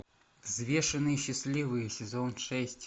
взвешенные счастливые сезон шесть